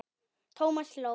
Thomas hló.